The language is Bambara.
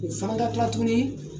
U fana ka kila tuguni